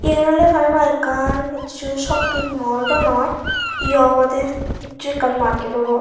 yen oley parapang ekkan hissu shopping mall daw noi yo obowdey hissu ekkan market obow.